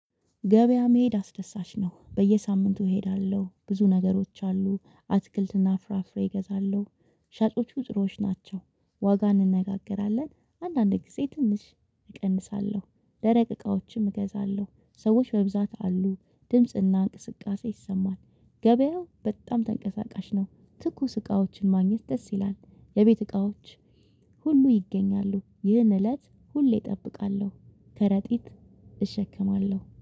ገበያ መሄድ አስደሳች ነው በየሳምንቱ እሄዳለሁ ብዙ ነገሮች አሉ አትክልትና ፍራፍሬ እገዛለሁ። ሻጮቹ ጥሩዎች ናቸው። ዋጋ እንነጋገራለን አንዳንድ ጊዜ ትንሽ እቀንሳለሁ። ደረቅ እቃዎችም እገዛለሁ ሰዎች በብዛት አሉ ድምጽና እንቅስቃሴ ይሰማል። ገበያው በጣም ተንቀሳቃሽ ነው። ትኩስ እቃዎችን ማግኘት ደስ ይላል። የቤት እቃዎች ሁሉ ይገኛሉ ይህን እለት ሁሌ እጠብቃለሁ። ከረጢት እሸከማለሁ